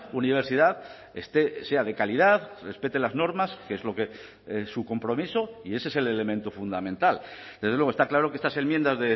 universidad sea de calidad respete las normas que es lo que es su compromiso y ese es el elemento fundamental desde luego está claro que estas enmiendas